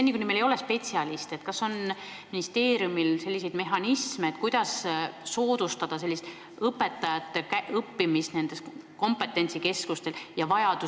Seni kuni meil ei jätku spetsialiste, kas on ministeeriumil mehhanisme, mille abil soodustada õpetajate õppimist nendes kompetentsikeskustes?